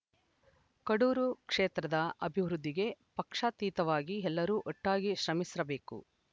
ಕಡೂರು ಕ್ಷೇತ್ರದ ಅಭಿವೃದ್ಧಿಗೆ ಪಕ್ಷಾತೀತವಾಗಿ ಎಲ್ಲರೂ ಒಟ್ಟಾಗಿ ಶ್ರಮಿಸಬೇಕು